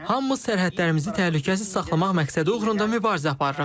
Hamımız sərhədlərimizi təhlükəsiz saxlamaq məqsədi uğrunda mübarizə aparırıq.